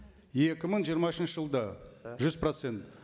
екі мың жиырма үшінші жылда да жүз процент